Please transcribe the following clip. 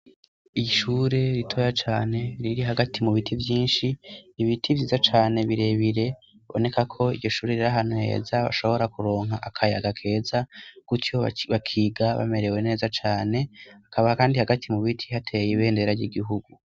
Irishure ritoya cane riri hagati mu biti vyinshi ibiti vyiza cane birebire boneka ko igishure rira hanuheza bashobora kuronka akayaagakeza kutiuwo bakiga bamerewe neza cane akaba, kandi hagati mu biti hateye ibeendera ry'igihugu.